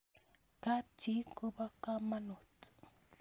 Kap chi ko po kamanut